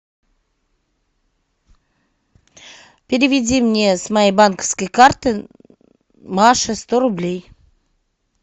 переведи мне с моей банковской карты маше сто рублей